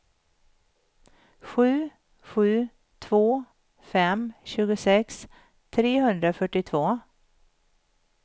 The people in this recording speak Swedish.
sju sju två fem tjugosex trehundrafyrtiotvå